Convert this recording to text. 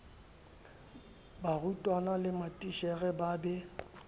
barutwana le matitjhere ba be